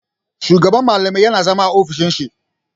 Shugaban malamai yana zama a ofishin shi.